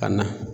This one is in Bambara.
Ka na